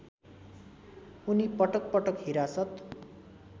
उनी पटकपटक हिरासत